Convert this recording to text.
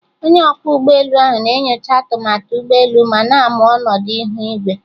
Onye ọkwọ ụgbọelu ahụ na-enyocha atụmatụ ụgbọ elu ma na-amụ ọnọdụ ihu igwe